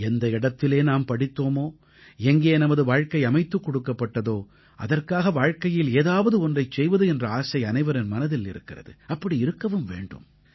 எந்த இடத்திலே நாம் படித்தோமோ எங்கே நமது வாழ்க்கை அமைத்துக் கொடுக்கப்பட்டதோ அதற்காக வாழ்க்கையில் ஏதாவது ஒன்றைச் செய்வது என்ற ஆசை அனைவரின் மனதில் இருக்கிறது அப்படி இருக்கவும் வேண்டும்